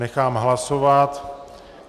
Nechám hlasovat.